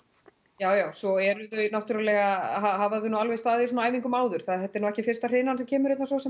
já já svo eru þau náttúrlega hafa þau nú alveg staðið í svona æfingum áður þetta er nú ekki fyrsta hrynan sem kemur hérna svosem